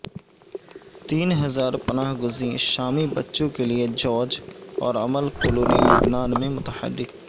تین ہزار پناہ گزین شامی بچوں کے لیے جارج اور امل کلونی لبنان میں متحرک